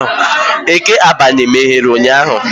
Eke Agbani meghere ụnyahụ?